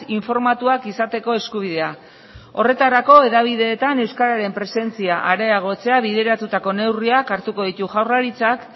informatuak izateko eskubidea horretarako hedabideetan euskararen presentzia areagotzea bideratutako neurriak hartuko ditu jaurlaritzak